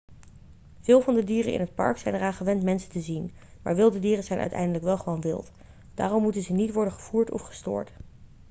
veel van de dieren in het park zijn eraan gewend mensen te zien maar wilde dieren zijn uiteindelijk wel gewoon wild daarom moeten ze niet worden gevoerd of gestoord